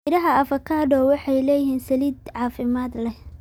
Midhaha avocado waxay leeyihiin saliid caafimaad leh.